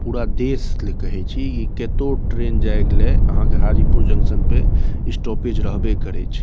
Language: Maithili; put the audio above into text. पूरा देश ले कही छी इ केत्तो ट्रैन जाइगले अहां के हाजीपुर जंक्शन पे स्टॉपेज रहबे करे छे।